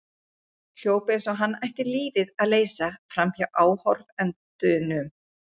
Hljóp eins og hann ætti lífið að leysa framhjá áhorfendunum.